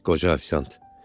Qoca ofisiant.